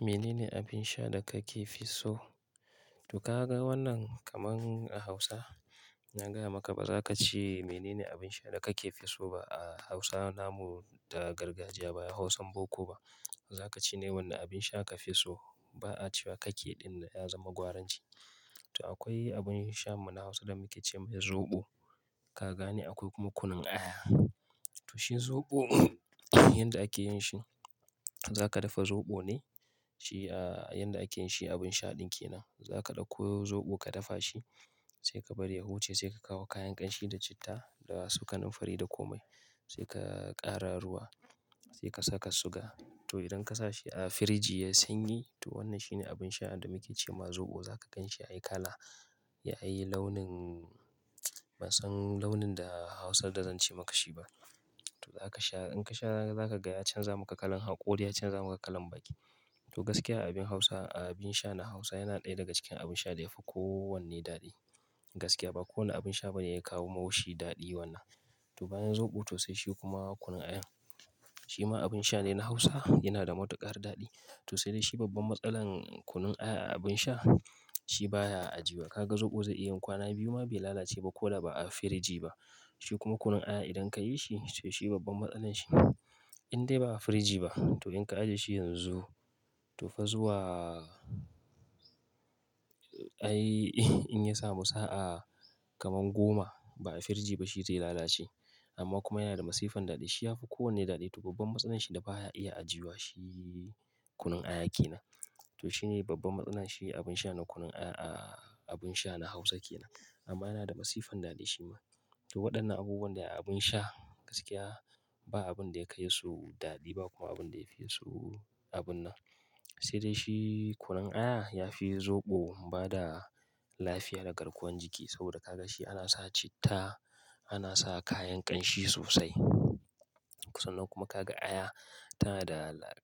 Menene abin sha da kake fi so? To ka ga wannan kamar a Hausa, na gaya maka ba za ka ce menene abin sha da kake fi so ba a Hausa namu da gargajiya ba Hausan boko ba. Za ka ce ne wanne abin sha kafi so. Ba'a cewa kake ɗin nan ya zama gwaranci. To akwai abin sha muna Hausa da muke ce mai zoɓo. Ka gane akwai kuma kunun aya. To shi zoɓo yanda ake yin shi, za ka dafa zoɓo ne, shi a yanda ake yin shi abin sha ɗin ke nan. Za ka ɗauko zoɓo ka dafa shi, sai ka bari ya huce, sai ka kawo kayan ƙanshi da citta da wasu kanumfari da komai. Sai ka ƙara ruwa, sai ka saka suga. To idan ka sa shi a firiji yayi sanyi, to wannan shi ne abin sha da muke ce ma zoɓo. Za ka gan shi ya yi kala, ya yi launin ban san launin da Hausar da zan ce maka shi ba. To za ka sha, in ka sha zaka ga ya canza maka kalan hakori, ya canza maka kalan baki. To gaskiya abin Hausa, abin sha na Hausa yana ɗaya daga cikin abin sha da yafi kowanne daɗi. Gaskiya ba kowane abin sha bane ya kawo mau shi daɗi wannan. To bayan zoɓo to sai shi kuma kunun aya. Shi ma abin sha ne na Hausa, yana da matuƙar daɗi. To sai dai shi babban matsalar kunun aya a abin sha, shi baya ajiya. Ka ga zoɓo zai yin kwana biyu ma bai lalace ba ko da ba a firiji ba. Shi kuma kunun aya idan ka yi shi, to shi babban matsalar shi in dai ba a firiji ba, to in ka ajiye shi yanzu, to fa zuwa ai in ya samu sa'a kamar goma ba'a firiji ba shi zai lalace. Amma kuma yana da masifan daɗi. Shi yafi kowanne daɗi. To babban matsalar shi da baya iya ajuyuwa shi kunun aya ke nan. To shi ne babban matsalar shi abin sha na kunun aya a abin sha na Hausa ke nan. Amma yana da masifan daɗi shi ma. To waɗannan abubuwan da abin sha gaskiya ba abin da ya kai su daɗi ba kuma abin da ya fi so abun nan. Sai dai shi kunun aya yafi zoɓo bada lafiya da garkuwan jiki saboda ka ga shi ana sa citta, ana sa kayan ƙanshi sosai. Sannan kuma ka ga aya tana da la--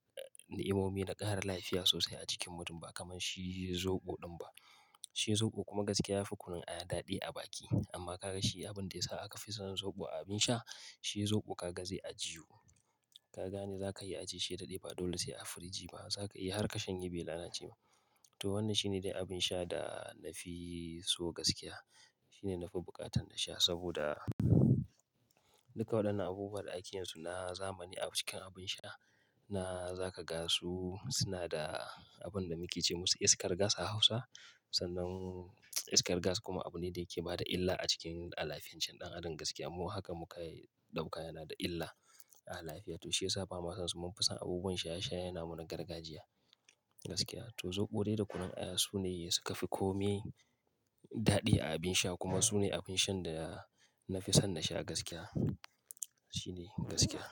ni, imomi da ƙara lafiya sosai a cikin mutum ba kamar shi zoɓo ɗin ba. Shi zoɓo kuma gaskiya yafi kunun aya daɗi a baki. Amma ka ga shi abin da ya sa aka fi san zoɓo a abin sha, shi zoɓo ka ga zai ajiwu. Ka gane za ka iya ajiye shi daɗe ba dole sai a firiji ba. Za ka iya har ka shanye bai lalace ba. To wannan shi ne dai abin sha da nafi so gaskiya. Shi ne nafi buƙatan da sha saboda duka waɗannan abubuwan da ake yin su na zamani a cikin abin sha, na za ka ga su suna da abin da muke ce musu iskar gas a Hausa. Sannan iskar gas kuma abu ne da yake bada illa a cikin alafiyancin ɗan adam gaskiya. Amma haka muka ɗauka yana da illa a alafiya. To shi yasa ba ma san su mun fi san abubuwan sha sha namu na gargajiya gaskiya. To zoɓo dai da kunun aya su ne suka fi kome daɗi a abin sha kuma su ne abin shan da nafi son na sha gaskiya. Shi ne gaskiya.